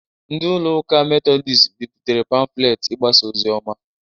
Ndị ụlọ ụka Medodịst bịpụtere pamfulet igbasa ozioma